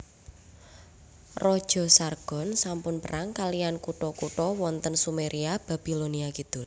Raja Sargon sampun perang kaliyan kutha kutha wonten Sumeria Babilonia Kidul